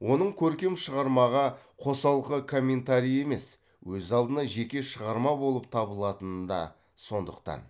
оның көркем шығармаға қосалқы комментарий емес өз алдына жеке шығарма болып табылатыны да сондықтан